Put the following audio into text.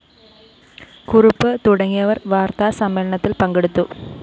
കുറുപ്പ് തുടങ്ങിയവര്‍ വാര്‍ത്താസമ്മേളനത്തില്‍ പങ്കെടുത്തു